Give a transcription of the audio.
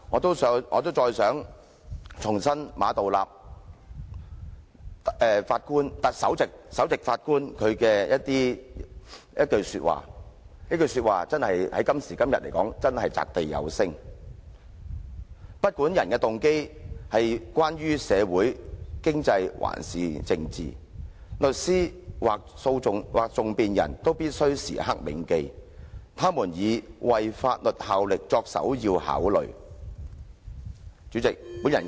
最後，我想重申馬道立首席法官的一句話，這句話今時今日真是擲地有聲："不管訴諸法庭的人動機為何——無論是社會、經濟或政治上的動機——律師，或更具體而言，訟辯人必須時刻銘記他們是以為法律效力為首要考慮。